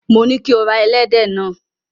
Mo ní kí o ra ẹlẹ́dẹ̀ náà.